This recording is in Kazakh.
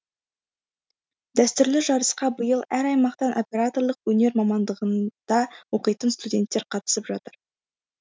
дәстүрлі жарысқа биыл әр аймақтан операторлық өнер мамандығында оқитын студенттер қатысып жатыр